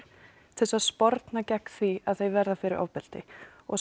til að sporna gegn því að þau verði fyrir ofbeldi og